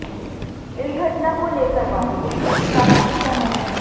इस घटना को लेकर बॉलीवुड में भी काफी गुस्सा है